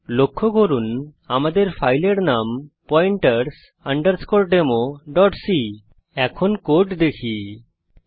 লক্ষ্য করুন যে আমাদের ফাইলের নাম হল pointers democ এখন কোড দেখা যাক